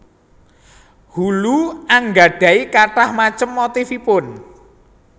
Hulu anggadhahi kathah macem motifipun